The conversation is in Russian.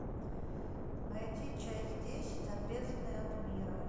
найди часть десять отрезанные от мира